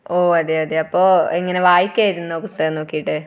ഓ അതേ? അപ്പൊ ഇങ്ങനെ വായിക്കുകയായിരുന്നോ പുസ്തകം നോക്കിയിട്ട്?